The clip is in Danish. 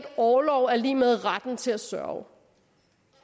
orlov er lig med retten til at sørge